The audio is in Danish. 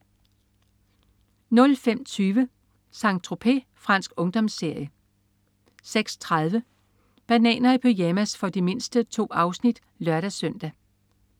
05.20 Saint-Tropez. Fransk ungdomsserie 06.30 Bananer i pyjamas. For de mindste. 2 afsnit (lør-søn)